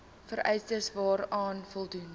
vereistes waaraan voldoen